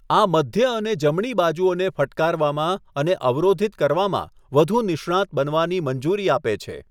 આ મધ્ય અને જમણી બાજુઓને ફટકારવામાં અને અવરોધિત કરવામાં વધુ નિષ્ણાંત બનવાની મંજૂરી આપે છે.